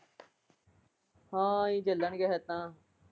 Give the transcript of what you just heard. ਹਾਂ ਇਹੀ ਚਲਣਗੇ ਫਿਰ ਤਾਂ।